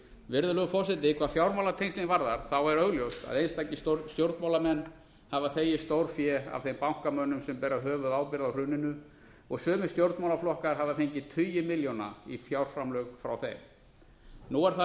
virðulegur forseti hvað fjármálatengslin varðar er augljóst að einstakir stjórnmálamenn hafa þegið stórfé af þeim bankamönnum sem bera höfuðábyrgð á hruninu og sumir stjórnmálaflokkar hafa fengið tugi milljóna í fjárframlög frá þeim nú er það